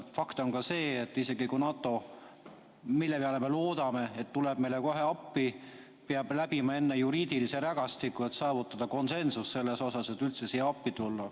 Fakt on ka see, et NATO, mille appituleku peale me loodame, peab läbima enne juriidilise rägastiku, et saavutada konsensus, et üldse siia appi tulla.